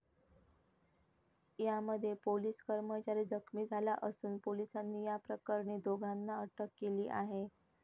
यामध्ये पोलिस कर्मचारी जखमी झाला असून, पोलिसांनी या प्रकरणी दोघांना अटक केली आहे.